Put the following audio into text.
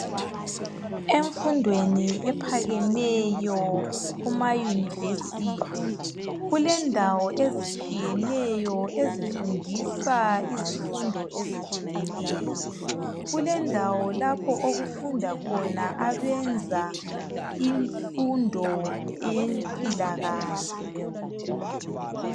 emfundweni ephakemeyo kuma university kulendawo ezitshiyeneyo ezifundisa izimfundo ezihlukeneyo kulendawo lapho okufundwa khona abenza imfundo yempilakahle